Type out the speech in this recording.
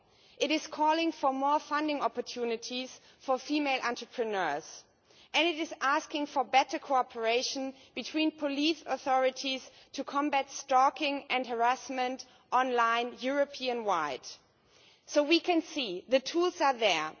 It calls for more funding opportunities for female entrepreneurs, and it asks for better cooperation between police authorities to combat stalking and harassment online European wide. So we can see that the tools are there.